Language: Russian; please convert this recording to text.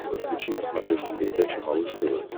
подключи на смотрешке передачу малыш тв